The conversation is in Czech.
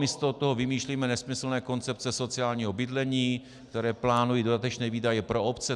Místo toho vymýšlíme nesmyslné koncepce sociálního bydlení, které plánují dodatečné výdaje pro obce.